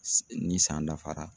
Ni san dafara